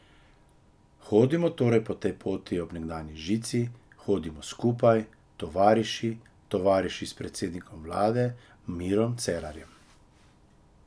Hodimo torej po tej poti ob nekdanji žici, hodimo skupaj, tovariši, tovariši s predsednikom vlade Mirom Cerarjem.